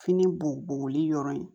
Fini boboli yɔrɔ in